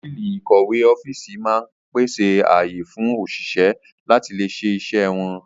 Tábìlì ìkọ̀wé ọ́fíìsì máa ń pèsè ààyè fún òṣìṣẹ́ láti lè ṣe iṣẹ́ wọn